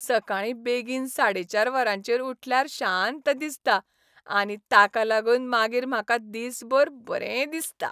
सकाळीं बेगीन साडे चार वरांचेर उठल्यार शांत दिसता आनी ताका लागून मागीर म्हाका दिसभर बरें दिसता.